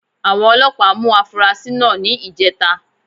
Àwọn Ọlọ́pàá mú afurasí náà ní ìjẹta